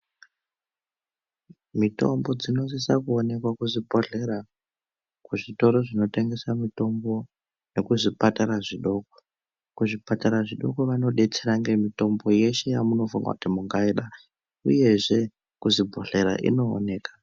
Mitombo dzinosisa kuwoneka kuzvibhodhlera, kuzvitoro zvinotengesa mitombo nekuzvipatara zvidoko. Kuzvipatara zvidoko vanodetsera ngemitombo yeshe yamunofunga kuti mungayida. Uyezve, kuzvibhodhlera inowoneka.